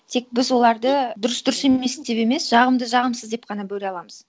тек біз оларды дұрыс дұрыс емес деп емес жағымды жағымсыз деп қана бөле аламыз